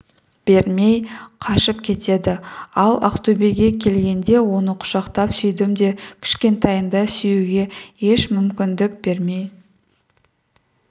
бермей қашып кетеді ал ақтөбеге келгенде оны құшақтап сүйдім де кішкентайында сүюге еш мүмкіндік бермей